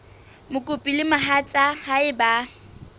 mokopi le mohatsa hae ba